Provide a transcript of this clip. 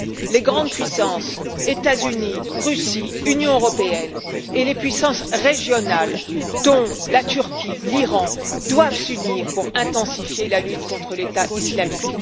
viole. Les grandes puissances, États Unis, Russie, Union européenne, et les puissances régionales, dont la Turquie et l'Iran, doivent s'unir pour intensifier la lutte contre l'État islamique.